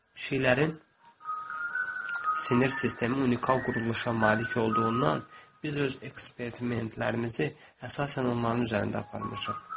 Pişiklərin sinir sistemi unikal quruluşa malik olduğundan biz öz eksperimentlərimizi əsasən onların üzərində aparmışıq.